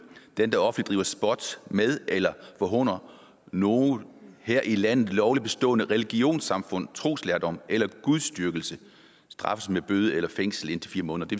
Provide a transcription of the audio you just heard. den der offentligt driver spot med eller forhåner noget her i landet lovligt bestående religionssamfunds troslærdomme eller gudsdyrkelse straffes med bøde eller fængsel indtil fire måneder det